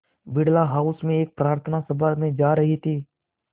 Birla house में एक प्रार्थना सभा में जा रहे थे